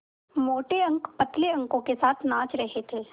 मोटे अंक पतले अंकों के साथ नाच रहे थे